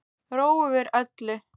Ró yfir öllu.